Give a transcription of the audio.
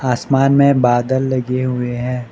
आसमान में बादल लगे हुए हैं।